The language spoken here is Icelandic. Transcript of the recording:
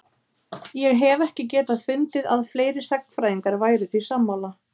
ég hef ekki getað fundið að fleiri sagnfræðingar væru því sammála